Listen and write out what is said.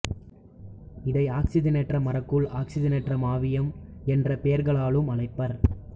இதை ஆக்சிசனேற்ற மரக்கூழ் ஆக்சிசனேற்ற மாவியம் என்ற பெயர்களாலும் அழைப்பர்